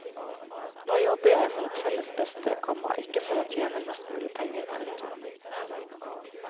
Nå jobber jeg for et felles beste, komma ikke for å tjene mest mulig penger. punktum